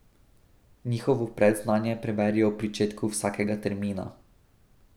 Njihovo predznanje preverijo ob pričetku vsakega termina.